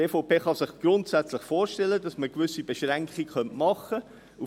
Die EVP kann sich grundsätzlich vorstellen, dass man gewisse Beschränkungen machen kann.